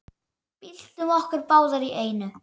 Byltum okkur báðar í einu.